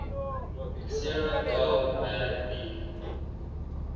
sarah gell mann b